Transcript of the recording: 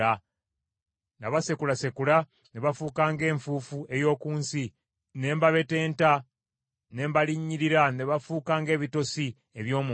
Nabasekulasekula ne bafuuka ng’enfuufu ey’oku nsi, ne mbabetenta, ne mbalinnyirira ne bafuuka ng’ebitosi eby’omu nguudo.